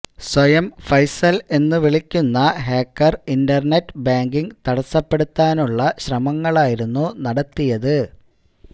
സ്വയം ഫൈസല് എന്ന് വിളിക്കുന്ന ഹാക്കര് ഇന്റര്നെറ്റ് ബാങ്കിംഗ് തടസ്സപ്പെടുത്താനുള്ള ശ്രമങ്ങളായിരുന്നു നടത്തിയത്